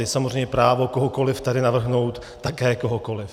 Je samozřejmě právo kohokoliv tady navrhnout také kohokoliv.